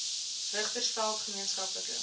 richtersveld gemeen skaplike